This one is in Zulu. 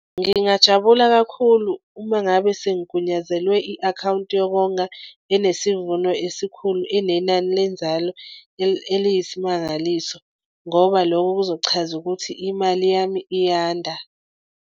Ngingajabula kakhulu uma ngabe sengigwunyazelwe i-akhawunti yokonga enesivuno esikhulu inenani lenzalo eliyisimangaliso ngoba lokho kuzochaza ukuthi imali yami iyanda.